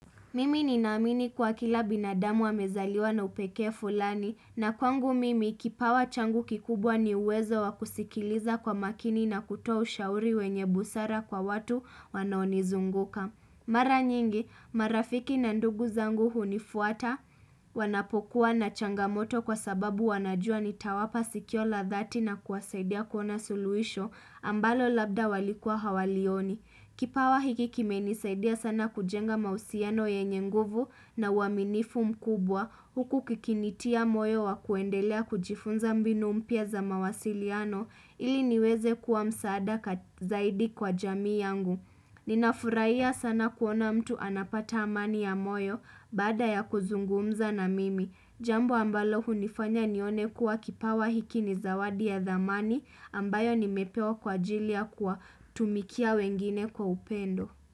Mimi ninaamini kuwa kila binadamu amezaliwa na upekee fulani na kwangu mimi kipawa changu kikubwa ni uwezo wa kusikiliza kwa makini na kutoa ushauri wenye busara kwa watu wanaonizunguka. Mara nyingi marafiki na ndugu zangu hunifuata wanapokuwa na changamoto kwa sababu wanajua nitawapa sikio la dhati na kuwasaidia kuona suluhisho ambalo labda walikua hawalioni. Kipawa hiki kimenisaidia sana kujenga mahusiano yenye nguvu na uaminifu mkubwa huku kikinitia moyo wa kuendelea kujifunza mbinu mpya za mawasiliano ili niweze kuwa msaada zaidi kwa jamii yangu. Nina furahia sana kuona mtu anapata amani ya moyo baada ya kuzungumza na mimi Jambo ambalo hunifanya nione kuwa kipawa hiki ni zawadi ya dhamani ambayo nimepewa kwa ajilia ya kuwatumikia wengine kwa upendo.